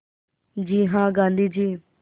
जी हाँ गाँधी जी